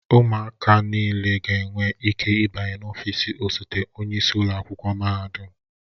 Ụmụaka niile ga-enwe ike ịbanye n'ọfịs osote onye isi ụlọ akwụkwọ mahadum.